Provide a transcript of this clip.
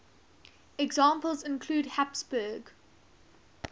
examples include habsburg